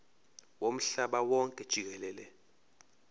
womhlaba wonke jikelele